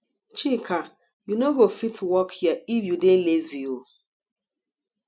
chika you no go fit work here if you dey lazy oo